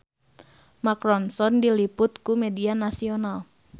Mark Ronson diliput ku media nasional